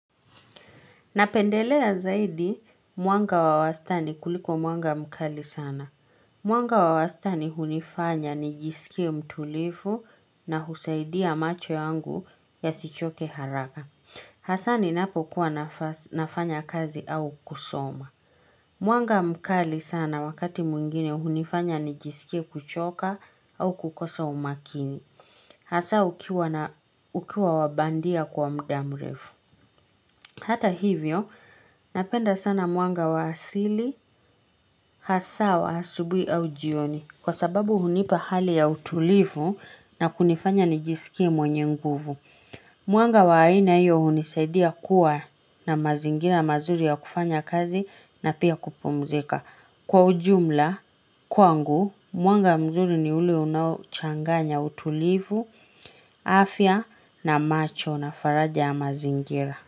Napendelea zaidi, mwanga wa wastani kuliko mwanga mkali sana. Mwanga wa wastani hunifanya nijisikie mtulivu, na husaidia macho yangu, yasichoke haraka. Hasaa ninapo kuwa nafanya kazi au kusoma. Mwanga mkali sana wakati mwingine hunifanya nijisikie kuchoka, au kukosa umakini. Hasaa, ukiwa wabandia kwa muda mrefu. Hata hivyo, napenda sana mwanga wa asili. Hasaa wa asubuhi au jioni. Kwa sababu hunipa hali ya utulivu, na kunifanya ni jisikie mwenye nguvu. Mwanga wa aina hiyo hunisaidia kuwa, na mazingira mazuri ya kufanya kazi, na pia kupumzika. Kwa ujumla, kwangu, mwanga mzuri ni ule unaochanganya utulivu, afya na macho na faraja ya mazingira.